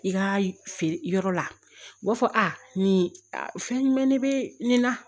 I ka feere yɔrɔ la u b'a fɔ a nin fɛn jumɛn de bɛ nin na